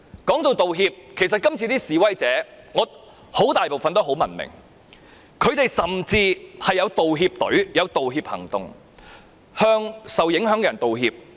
提到道歉，其實今次的示威者絕大部分都很文明，他們甚至有一個道歉隊向受影響的人道歉。